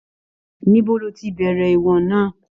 Níbo ló tí bẹrẹ ìwọ̀n náà?